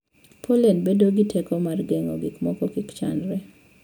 pollen bedo gi teko mar geng'o gik moko kik chandre.